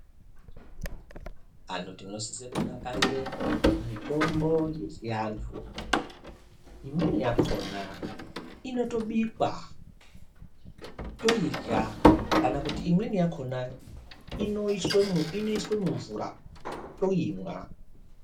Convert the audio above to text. Anhu tinosise kudakarire mutombo yechintu imweni yakona inotobikwa toirya kana kuti imweni yakona inoiswe mvura toimwa .